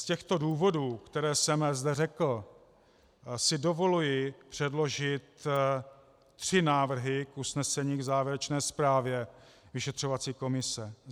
Z těchto důvodů, které jsem zde řekl, si dovoluji předložit tři návrhy k usnesení k závěrečné zprávě vyšetřovací komise: